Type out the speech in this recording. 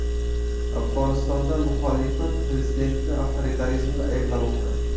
Afg‘onistonda muxolifat prezidentni avtoritarizmda ayblamoqda.